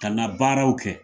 Ka na baaraw kɛ